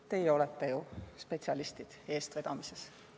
Teie olete ju eestvedamisel spetsialistid.